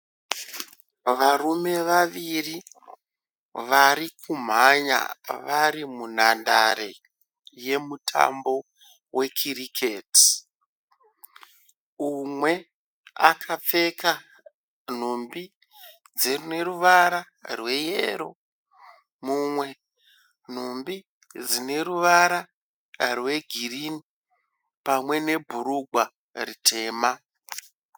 Varume vaviri vari kumhanya vari munhandare yemutambo wekiriketi. Umwe akapfeka nhumbi dzeruvara rweyero mumwe nhumbi dzine ruvara rwegirinhi pamwe nebhurugwa ritema.